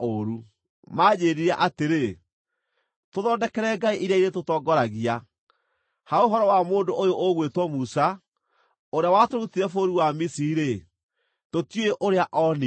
Maanjĩĩrire atĩrĩ, ‘Tũthondekere ngai iria irĩtũtongoragia. Ha ũhoro wa mũndũ ũyũ ũgwĩtwo Musa, ũrĩa watũrutire bũrũri wa Misiri-rĩ, tũtiũĩ ũrĩa oonire.’